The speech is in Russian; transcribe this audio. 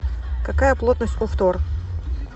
какая плотность у фтор